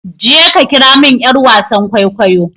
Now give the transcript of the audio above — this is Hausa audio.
je ka kira min yar wasan kwaikwayo!